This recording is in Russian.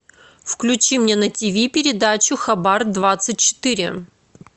включи мне на тв передачу хабар двадцать четыре